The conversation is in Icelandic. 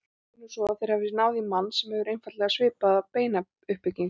Segjum nú svo að þeir hafi náð í mann sem hefur einfaldlega svipaða beinabyggingu.